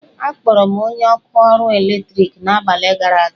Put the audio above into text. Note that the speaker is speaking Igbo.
Akpọrọ m onye ọkụ ọrụ eletriki n'abalị gara aga.